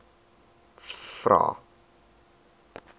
vvvvrae